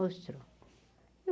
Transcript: Mostrou.